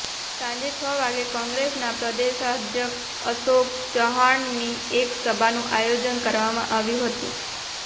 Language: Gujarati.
સાંજે છ વાગ્યે કોંગ્રેસના પ્રદેશાધ્યક્ષ અશોક ચવ્હાણની એક સભાનું આયોજન કરવામાં આવ્યું હતું